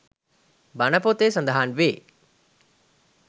බණ පොතේ සඳහන් වේ.